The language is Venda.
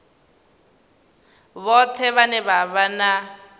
vhoṱhe vhane vha vha na